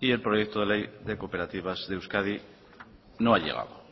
y el proyecto de ley de cooperativas de euskadi no ha llegado